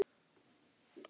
Hann var ekki bara þarna.